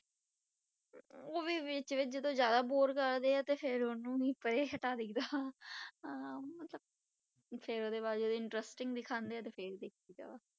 ਉਹ ਵੀ ਵਿੱਚ ਵਿੱਚ ਜਦੋਂ ਜ਼ਿਆਦਾ bore ਕਰਦੇ ਆ ਤੇ ਫਿਰ ਉਹਨੂੰ ਵੀ ਪਰੇ ਹਟਾ ਦੇਈਦਾ ਵਾ ਹਾਂ ਮਤਲਬ, ਫਿਰ ਉਹਦੇ ਬਾਅਦ ਜਦੋਂ interesting ਦਿਖਾਉਂਦੇ ਆ ਤੇ ਫਿਰ ਦੇਖ ਲਈਦਾ ਵਾ।